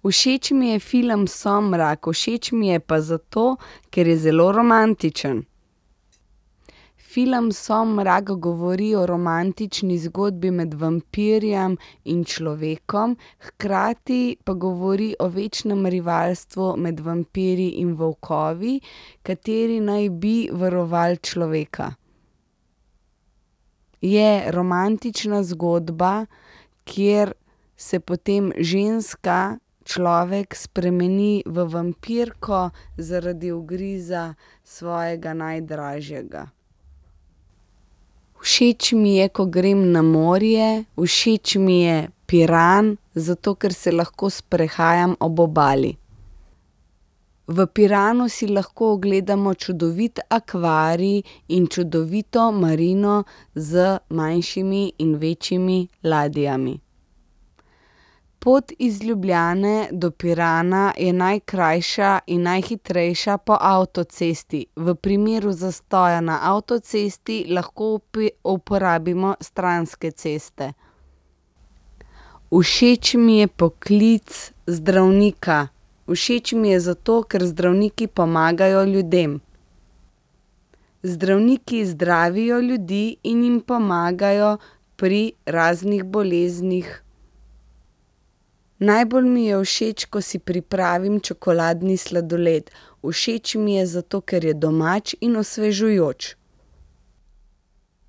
Všeč mi je film Somrak. Všeč mi je pa zato, ker je zelo romantičen. Film Somrak govori o romantični zgodbi med vampirjem in človekom, hkrati pa govori o večnem rivalstvu med vampirji in volkovi, kateri naj bi varovali človeka. Je romantična zgodba, kjer se potem ženska, človek spremeni v vampirko zaradi ugriza svojega najdražjega. Všeč mi je, ko grem na morje. Všeč mi je Piran, zato ker se lahko sprehajam ob obali. V Piranu si lahko ogledamo čudovit akvarij in čudovito marino z manjšimi in večjimi ladjami. Pot iz Ljubljane do Pirana je najkrajša in najhitrejša po avtocesti. V primeru zastoja na avtocesti lahko uporabimo stranske ceste. Všeč mi je poklic zdravnika. Všeč mi je zato, ker zdravniki pomagajo ljudem. Zdravniki zdravijo ljudi in jim pomagajo pri raznih boleznih. Najbolj mi je všeč, ko si pripravim čokoladni sladoled. Všeč mi je zato, ker je domač in osvežujoč.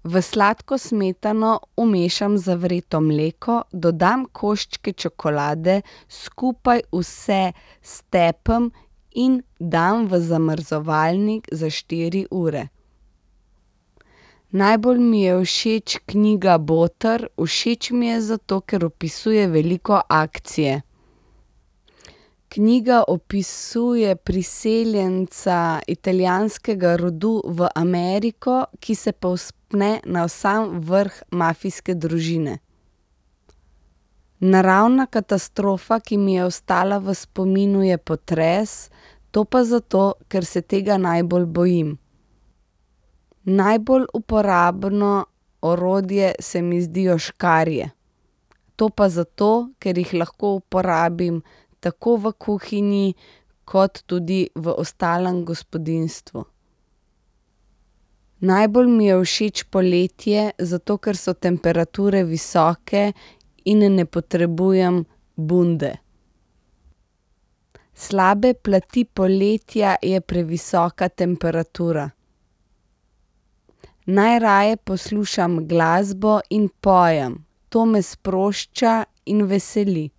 V sladko smetano vmešam zavreto mleko, dodam koščke čokolade, skupaj vse stepem in dam v zamrzovalnik za štiri ure. Najbolj mi je všeč knjiga Boter. Všeč mi je zato, ker opisuje veliko akcije. Knjiga opisuje priseljenca italijanskega rodu v Ameriko, ki se povzpne na sam vrh mafijske družine. Naravna katastrofa, ki mi je ostala v spominu, je potres. To pa zato, kar se tega najbolj bojim. Najbolj uporabno orodje se mi zdijo škarje. To pa zato, ker jih lahko uporabim tako v kuhinji kot tudi v ostalem gospodinjstvu. Najbolj mi je všeč poletje, zato ker so temperature visoke in ne potrebujem bunde. Slaba plat poletja je previsoka temperatura. Najraje poslušam glasbo in pojem. To me sprošča in veseli.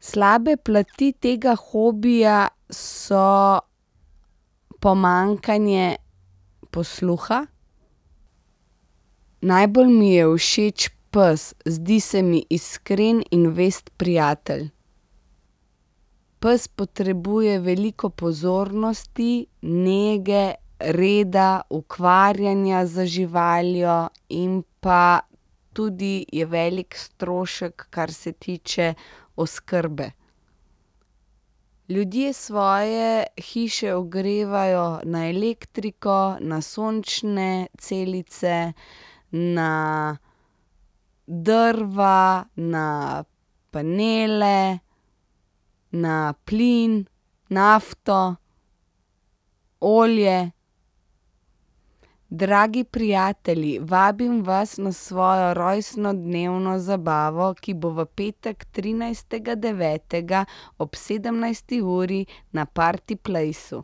Slabe plati tega hobija so pomanjkanje posluha. Najbolj mi je všeč pes. Zdi se mi iskren in zvest prijatelj. Pes potrebuje veliko pozornosti, nege, reda, ukvarjanja z živaljo in pa tudi je veliko strošek, kar se tiče oskrbe. Ljudje svoje hiše ogrevajo na elektriko, na sončne celice, na drva, na panele, na plin, nafto, olje. Dragi prijatelji, vabim vas na svojo rojstnodnevno zabavo, ki bo v petek, trinajstega devetega ob sedemnajsti uri na party placeu.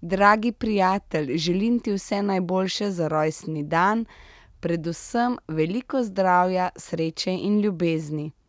Dragi prijatelj, želim ti vse najboljše za rojstni dan. Predvsem veliko zdravja, sreče in ljubezni.